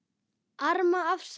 Arma: Afsakið